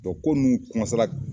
U ko ninnu